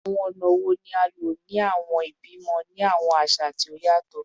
Awọn ọna wo ni a lo ni awọn ibi-ibimọ ni awọn aṣa aṣa ti o yatọ?